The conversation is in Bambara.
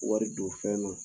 Wari don fɛn dɔ la